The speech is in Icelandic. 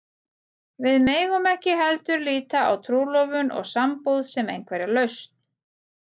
Við megum ekki heldur líta á trúlofun og sambúð sem einhverja lausn.